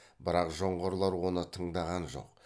бірақ жоңғарлар оны тыңдаған жоқ